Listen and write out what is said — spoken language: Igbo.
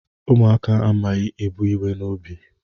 Ụmụaka amaghị ebu iwe n'obi